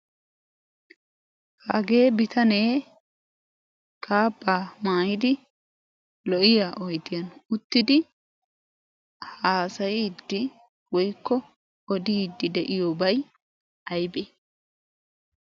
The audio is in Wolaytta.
Hagee bitanee kaabbaa maayidi lo"iya oyidiyan uttidi haasayiiddi woyikko odiiddi de"iyoobay ayibee?